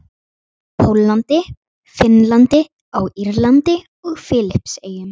Póllandi, Finnlandi, á Írlandi og Filippseyjum.